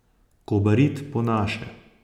Kobarid po naše.